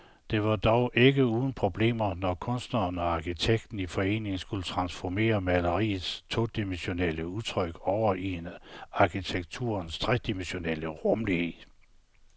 Det var dog ikke uden problemer, når kunstneren og arkitekten i forening skulle transformere maleriets todimensionelle udtryk over i arkitekturens tredimensionelle rumlighed.